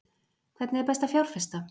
Hvernig er best að fjárfesta?